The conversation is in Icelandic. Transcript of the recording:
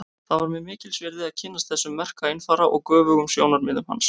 Það var mér mikils virði að kynnast þessum merka einfara og göfugum sjónarmiðum hans.